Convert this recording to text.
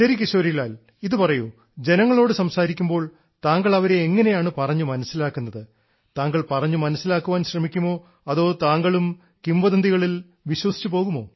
ശരി കിശോരി ലാൽ ഇതു പറയൂ ജനങ്ങളോട് സംസാരിക്കുമ്പോൾ താങ്കൾ അവരെ എങ്ങനെയാണ് പറഞ്ഞു മനസ്സിലാക്കുന്നത് താങ്കൾ പറഞ്ഞു മനസ്സിലാക്കാൻ ശ്രമിക്കുമോ അതോ താങ്കളും കിംവദന്തികളിൽ വിശ്വസിച്ചു പോകുമോ